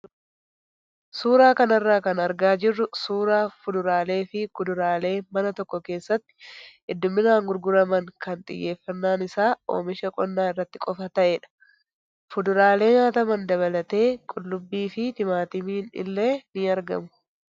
Suuraa kanarraa kan argaa jirru suuraa fuduraalee fi kuduraalee mana tokko keessatti hedduminaan gurguraman ken xiyyeeffannaan isaa oomisha qonnaa irratti qofaa ta'edha. Fuduraalee nyaataman dabalatee qullubbii fi timaatimni illee ni argamu.